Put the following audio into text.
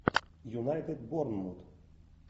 юнайтед борнмут